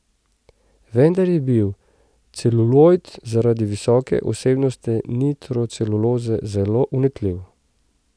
Vendar je bil celulojd zaradi visoke vsebnosti nitroceluloze zelo vnetljiv.